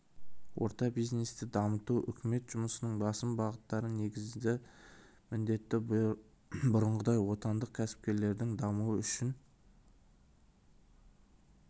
орта бизнесті дамыту үкімет жұмысының басым бағыттары негізгі міндеті бұрынғыдай отандық кәсіпкерлердің дамуы үшін